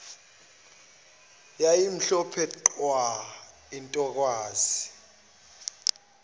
yayimhlophe qwa intokazi